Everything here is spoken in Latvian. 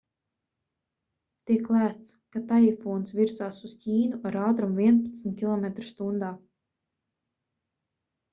tiek lēsts ka taifūns virzās uz ķīnu ar ātrumu vienpadsmit km/h